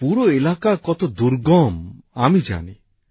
এই পুরো এলাকা কত দুর্গম আমি জানি